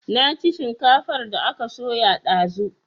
Na ci shinkafar da aka soya dazu